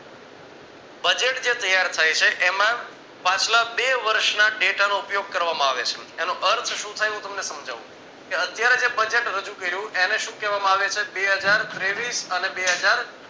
budget જે ત્યાર થાય છે એમાં પાછલા બે વર્ષ ના data નો ઉપયોગ કરવામાં આવે છે એનો અર્થ શું થાય હું તમને સમજવું કે અત્યારે જે budget રજુ કર્યું એને શું કહેવામાં આવે છે બે હજાર તેવીશ અને બે હજાર